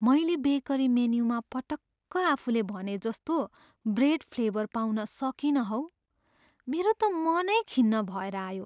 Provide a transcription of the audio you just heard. मैले बेकरी मेन्युमा पटक्क आफूले भनेजस्तो ब्रेड फ्लेभर पाउन सकिनँ हौ। मेरो त मनै खिन्न भएर आयो।